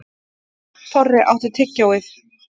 Þorri, áttu tyggjó?